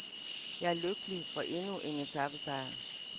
Jeg er lykkelig for endnu en etapesejr.